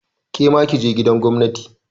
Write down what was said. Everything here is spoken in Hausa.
Kema kije gidan gwamnati!